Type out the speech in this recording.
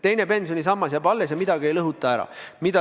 Teine pensionisammas jääb alles, midagi ei lõhuta ära.